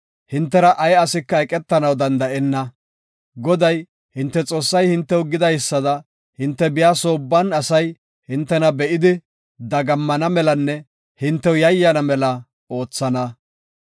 Hintera ay asika eqetanaw danda7enna; Goday, hinte Xoossay hintew gidaysada hinte biya soo ubban asay hintena be7idi dagammana melanne hintew yayyana mela oothana.